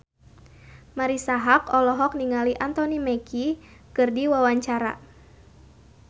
Marisa Haque olohok ningali Anthony Mackie keur diwawancara